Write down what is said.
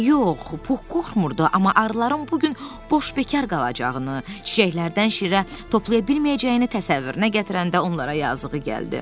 Yox, Puh qorxmurdu, amma arıların bu gün boş bekar qalacağını, çiçəklərdən şirə toplaya bilməyəcəyini təsəvvürünə gətirəndə onlara yazığı gəldi.